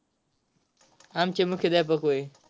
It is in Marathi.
आमचे मुख्याध्यापक होय.